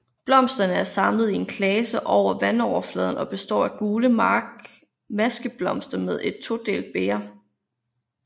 Blomsterne er samlet i en klase over vandoverfladen og består af gule maskeblomster med et todelt bæger